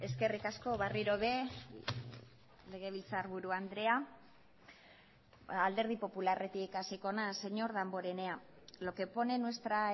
eskerrik asko berriro ere legebiltzarburu andrea alderdi popularretik hasiko naiz señor damborenea lo que pone en nuestra